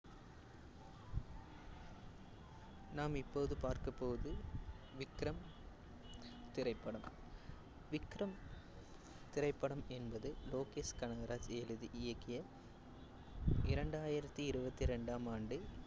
நாம் இப்போது பார்க்க போவது விக்ரம் திரைப்படம். விக்ரம் திரைப்படம் என்பது லோகேஷ் கனகராஜ் எழுதி இயக்கிய இரண்டாயித்தி இருவத்தி இரண்டாம் ஆண்டு